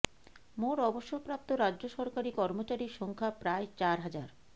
মোট অবসর প্রাপ্ত রাজ্য সরকারি কর্মচারির সংখ্যা প্রায় চার হাজার